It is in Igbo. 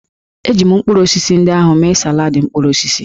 Eji m mkpụrụ osisi ndị ahụ mee saladị mkpụrụ osisi